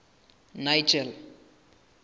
nigel